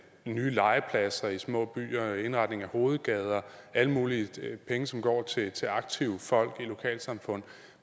nye legepladser i små byer indretning af hovedgader alle mulige penge som går til til aktive folk i lokalsamfundet